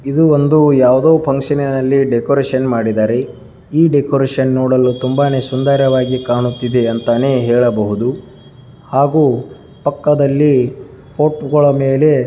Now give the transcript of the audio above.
ಇದು ಒಂದು ಯಾವುದೋ ಫಂಕ್ಷನ್ ನಲ್ಲಿ ಡೆಕೋರೇಷನ್ ಮಾಡಿದರೆ ಈ ಡೆಕೋರೇಷನ್ ನೋಡಲು ತುಂಬಾನೇ ಸುಂದರವಾಗಿ ಕಾಣುತ್ತಿದೆ ಅಂತಾನೆ ಹೇಳಬಹುದು ಹಾಗೂ ಪಕ್ಕದಲ್ಲಿ ಪೋಟ್ಗಳ ಮೇಲೆ --